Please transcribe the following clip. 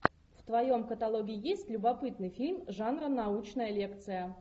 в твоем каталоге есть любопытный фильм жанра научная лекция